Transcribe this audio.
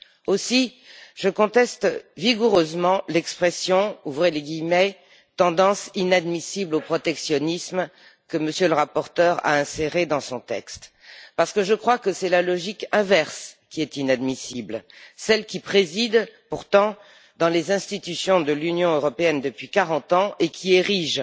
Aussi, je conteste vigoureusement l'expression tendance inadmissible au protectionnisme, que M. le rapporteur a inséré dans son texte, parce que je crois que c'est la logique inverse qui est inadmissible, celle qui préside pourtant dans les institutions de l'Union européenne depuis quarante ans et qui érige